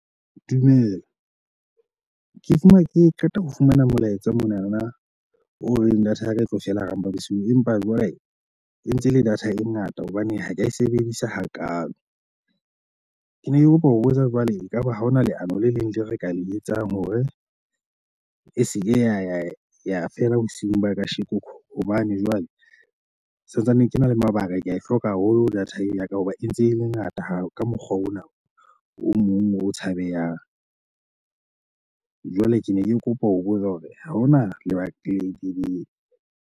Dumela. Ke fumana ke qeta ho fumana molaetsa monana o reng data ya ka e tlo fela hara mpa bosiu empa jwale e ntse e le data e ngata hobane ha ke e sebedisa hakaalo. Ke ne ke kopa ho botsa jwale, ekaba ha hona leano le leng le re ka le etsang hore e se ke ya ya ya fela bosiu ba kasheko hobane jwale santsane ke na le mabaka. Ke a e hloka haholo data ya ka hoba e ntse e mengata ha ka mokgwa ona o mong o tshabehang. Jwale ke ne ke kopa ho bolela hore ha hona le Battery .